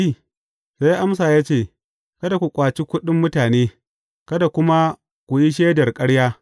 Sai ya amsa ya ce, Kada ku ƙwace kuɗin mutane, kada kuma ku yi shaidar ƙarya.